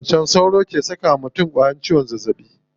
Macen sauro ke saka wa mutum ƙwayan ciwon zazzaɓin sauro.